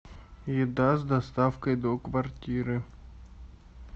еда с доставкой до квартиры